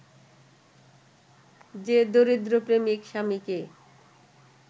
যে দরিদ্র প্রেমিক-স্বামীকে